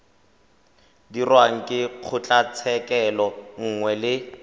dirwang ke kgotlatshekelo nngwe le